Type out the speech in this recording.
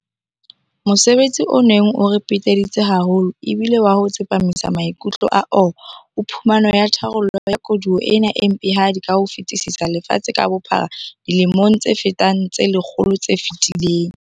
Mosebetsi o neng o re peteditse haholo e bile wa ho tsepamisa maikutlo a AU ho phumano ya tharollo ya koduwa ena e mpehadi ka ho fetisisa lefatshe ka bophara dilemong tse fetang tse le kgolo tse fetileng.